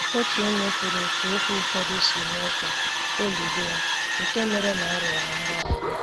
Otu onye kwuru otú okwu ụfọdụ si mee ka obi dị ha, nke mere ka a riọ ha mgbaghara.